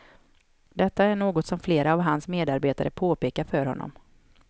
Detta är något som flera av hans medarbetare påpekar för honom.